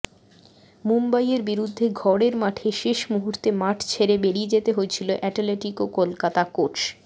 মুম্বইয়ের বিরুদ্ধে ঘরের মাঠে শেষ মুহূর্তে মাঠ ছেড়ে বেরিয়ে যেতে হয়েছিল অ্যাটলেটিকো কলকাতা কোচ